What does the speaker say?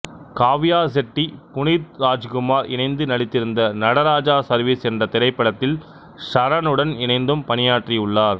காவ்யா செட்டி புனீத் ராச்குமார் இணைந்து நடித்திருந்த நடராஜா சர்வீஸ் என்ற திரைப்படத்தில் சரனுடன் இணைந்தும் பணியாற்றியுள்ளார்